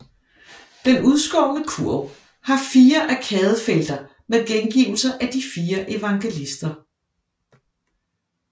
Den udskårne kurv har fire arkadefelter med gengivelser af de fire evangelister